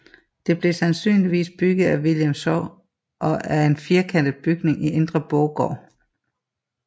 Det blev sandsynligvis bygget af William Schaw og er en firkantet bygning i indre borggård